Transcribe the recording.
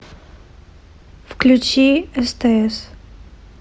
включи стс